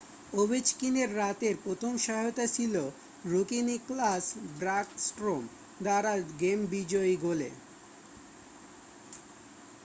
ওভেচকিনের রাতের প্রথম সহায়তা ছিল রুকি নিকলাস ব্যাকস্ট্রম দ্বারা গেম বিজয়ী গোলে